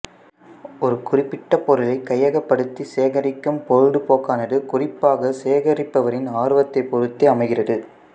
ஒரு குறிப்பிட்ட பொருளைக் கையகப்படுத்தி சேகரிக்கும் பொழுதுபோக்கானது குறிப்பாக சேகரிப்பவரின் ஆர்வத்தைப் பொருத்தே அமைகிறது